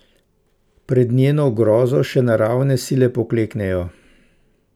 Pred njeno grozo še naravne sile pokleknejo.